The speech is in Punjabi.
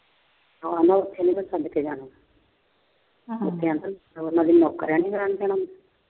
ਹਾਂ ਉਹਨੂੰ ਇਥੇ ਨੀ ਰੱਖਣ ਪਿੱਛੇ ਜਾਣਾ।